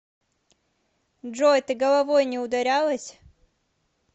джой ты головой не ударялась